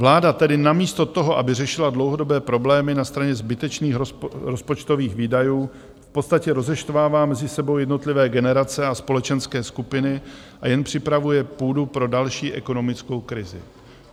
Vláda tedy namísto toho, aby řešila dlouhodobé problémy na straně zbytečných rozpočtových výdajů, v podstatě rozeštvává mezi sebou jednotlivé generace a společenské skupiny a jen připravuje půdu pro další ekonomickou krizi.